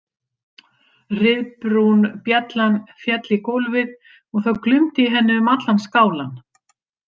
Ryðbrún bjallan féll í gólfið og það glumdi í henni um allan skálann.